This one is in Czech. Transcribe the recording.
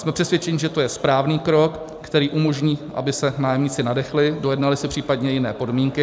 Jsme přesvědčeni, že to je správný krok, který umožní, aby se nájemníci nadechli, dojednali si případně jiné podmínky.